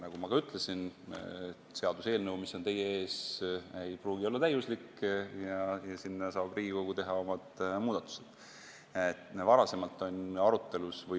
Nagu ma ka ütlesin, seaduseelnõu, mis on teie ees, ei pruugi olla täiuslik ja seal saab Riigikogu muudatusi teha.